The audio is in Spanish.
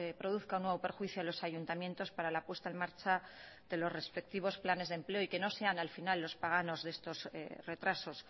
produzca un nuevo perjuicio a los ayuntamientos para la puesta en marcha de los respectivos planes de empleo y que no sean al final los paganos de estos retrasos